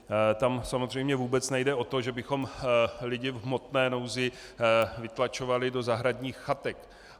Tam samozřejmě vůbec nejde o to, že bychom lidi v hmotné nouzi vytlačovali do zahradních chatek.